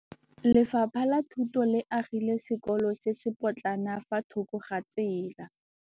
Lefapha la Thuto le agile sekôlô se se pôtlana fa thoko ga tsela.